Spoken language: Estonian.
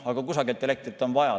Aga kusagilt on elektrit vaja saada.